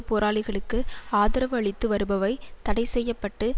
போராளிகளுக்கு ஆதரவு அளித்து வருபவை தடை செய்ய பட்டு